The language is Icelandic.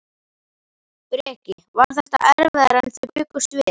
Breki: Var þetta erfiðara en þið bjuggust við?